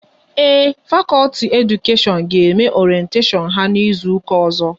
Ee, fakọlti Edukashion ga eme oretashon ha n'izuka ozo